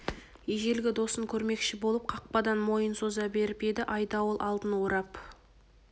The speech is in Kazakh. ежелгі досын көрмекші болып қақпадан мойын соза беріп еді айдауыл алдын орап